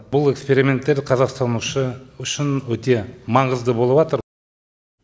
бұл эксперименттер қазақстан үшін өте маңызды болып атыр